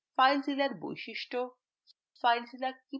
filezillaর বৈশিষ্ট্য